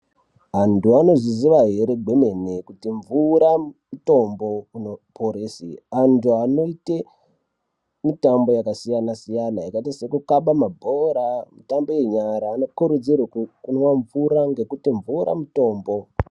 Antu anozviziva here kwemene kuti mvura mutombo unoporesa vantu vanoita mitambo yakasiyana siyana yakaita sekukabe mabhora mutambo yenyara anokurudzirwa kumwa mvura ngekuti mvura mutombo.